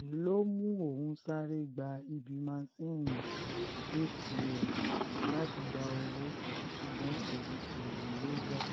èyí ló mú òun sáré gba ibi másinni atm láti gba owó ṣùgbọ́n òun kò rówó gbà